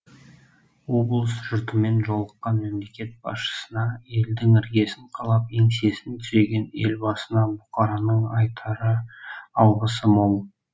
облыс жұртымен жолыққан мемлекет басшысына елдің іргесін қалап еңсесін түзеген елбасына бұқараның айтар алғысы мол